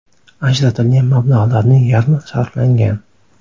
Ajratilgan mablag‘larning yarmi sarflangan.